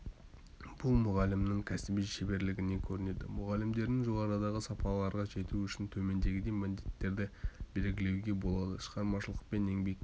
бұл мұғалімнің кәсіби шеберлігінен көрінеді мұғалімдердің жоғарыдағы сапаларға жетуі үшін төмендегідей міндеттерді белгілеуге болады шығармашылықпен еңбек